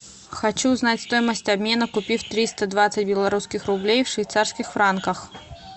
хочу знать стоимость обмена купив триста двадцать белорусских рублей в швейцарских франках